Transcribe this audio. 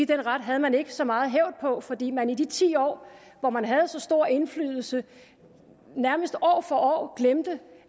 den ret havde man ikke så meget hævd på fordi man i de ti år hvor man havde så stor indflydelse nærmest år for år glemte